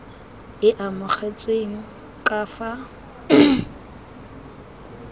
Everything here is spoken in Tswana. e e amogetsweng ka fa